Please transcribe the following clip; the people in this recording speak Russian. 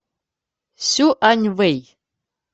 сюаньвэй